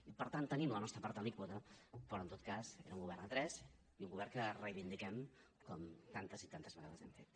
i per tant tenim la nostra part alíquota però en tot cas era un govern a tres i un govern que reivindiquem com tantes i tantes vegades hem fet